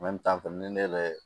ni ne yɛrɛ